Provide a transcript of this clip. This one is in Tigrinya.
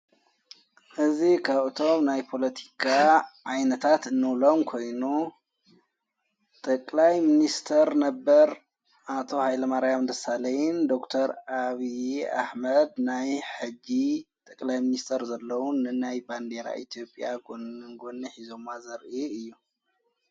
እዝ ኻእቶም ናይ ጶሎቲካ ኣይነታት እኖውሎም ኮይኑ ጠቀላይ ምንስተር ነበር ኣቶ ሃይለ ማርያም ድሳሌይን ዶክር ኣብዪ ኣሕመድ ናይ ሕጊ ጠቀላይ ምንስተር ዘለዉን ንናይ ባንዴራ ኤቲኦጴያ ጐኒን ጐኒ ኂዞማ ዘር እዩ።